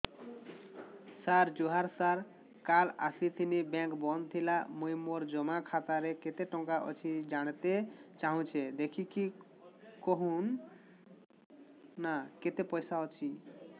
ସାର ଜୁହାର ସାର କାଲ ଆସିଥିନି ବେଙ୍କ ବନ୍ଦ ଥିଲା ମୁଇଁ ମୋର ଜମା ଖାତାରେ କେତେ ଟଙ୍କା ଅଛି ଜାଣତେ ଚାହୁଁଛେ ଦେଖିକି କହୁନ ନା କେତ ପଇସା ଅଛି